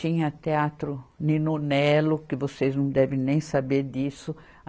Tinha teatro ninonelo, que vocês não devem nem saber disso.